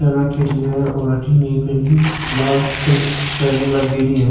खिड़कियां राकौड़ी है और अठन एक है नि लाल कलर की टाइलें लागेड़ी है।